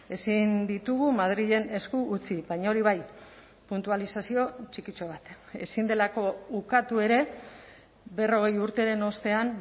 ezin ditugu madrilen esku utzi baina hori bai puntualizazio txikitxo bat ezin delako ukatu ere berrogei urteren ostean